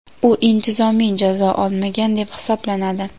u intizomiy jazo olmagan deb hisoblanadi.